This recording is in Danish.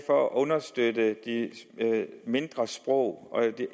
for at understøtte de mindre sprog